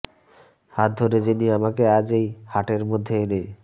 হাত ধরে যিনি আমাকে আজ এই হাটের মধ্যে এনে